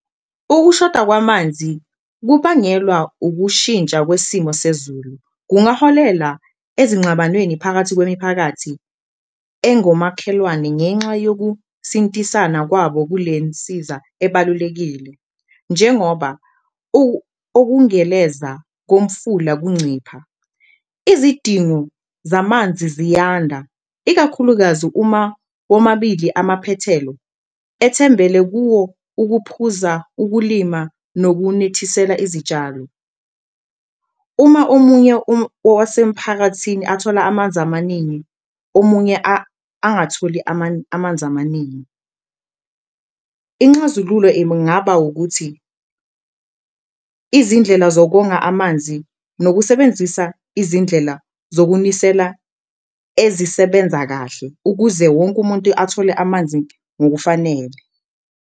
Ukushoda kwamanzi okubangelwa ukushintsha kwesimo sezulu, kungaholela ezinxabanweni phakathi kwemiphakathi engomakhelwane ngenxa yokusintisana kwabo kule nsiza ebalulekile. Njengoba ukungeleza komfula kuncipha izidingo zamanzi ziyanda, ikakhulukazi uma womabili amaphethelo ethembele kuwo ukuphuza, ukulima nokunethiselela izitshalo. Uma omunye wasemphakathini athola amanzi amaningi, omunye angatholi amanzi amaningi, inxazululo ingaba ukuthi izindlela zokonga amanzi nokusebenzisa izindlela zokunisela ezisebenza kahle. Ukuze wonke umuntu athole amanzi ngokufanele.